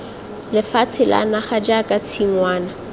lefatshe la naga jaaka tshingwana